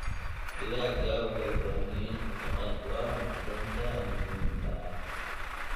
Digaagga waxay u baahan yihiin cunto qani ku ah macdanta muhiimka ah.